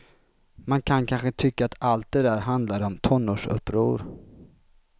Man kan kanske tycka att allt det där handlade om tonårsuppror.